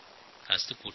কাজটি কঠিন